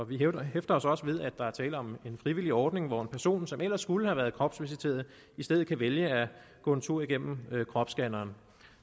vi hæfter os os ved at der er tale om en frivillig ordning hvor en person som ellers skulle have været kropsvisiteret i stedet kan vælge at gå en tur igennem kropsscanneren